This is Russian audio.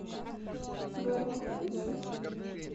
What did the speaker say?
гороховый суп